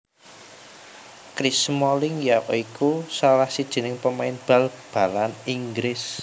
Chris Smalling ya iku salah sijining pemain bal balan Inggris